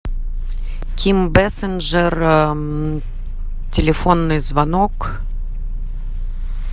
ким бэсинджер телефонный звонок